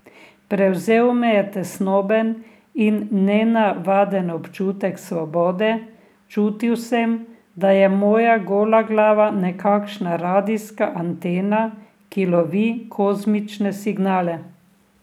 Prevzel me je tesnoben in nenavaden občutek svobode, čutil sem, da je moja gola glava nekakšna radijska antena, ki lovi kozmične signale.